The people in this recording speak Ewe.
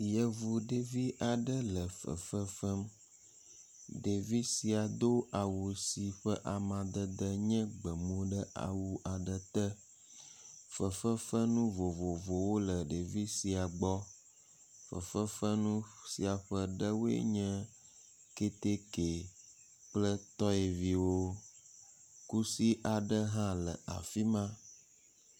Yevu ɖevi aɖe le fefefem. Ɖevi sia do awu si ƒe amadede nye gbemu ɖe awu aɖe te. Fefefenu vovovowo le ɛevia sia gbɔ. Fefefenu sia ƒe ɖewoe nye ketke kple tɔyeviwo. Kusi aɖe le afi ma.